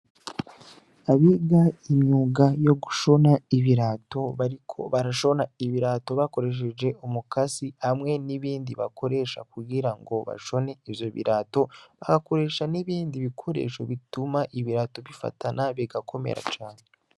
Abiga imyuga yo gushona ibirato bariko barashona ibirato bakoresheje umukasi hamwe nibindi bakoresha kugira bashone ivyo birato bagakoresha nibindi bikoresho bituma ibirato bifatana bigakomera cane.